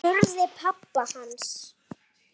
spurði pabbi hans.